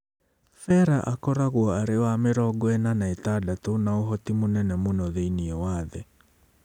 Ferrer akoragwo arĩ wa mĩrongo ĩna na ĩtandatũ na ũhoti mũnene mũno thĩinĩ wa thĩ.